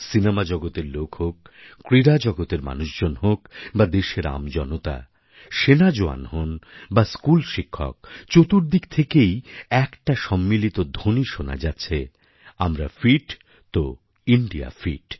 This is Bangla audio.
সিনেমা জগতের লোক হোক ক্রীড়াজগতের মানুষজন হোক বা দেশের আমজনতা সেনা জওয়ান হন বা স্কুল শিক্ষক চতুর্দিক থেকে একটাই সম্মিলিত ধ্বনি শোনা যাচ্ছে আমরা ফিট তো ইন্দিয়া ফিট